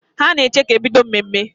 Ha na-eche ka e bido mmemme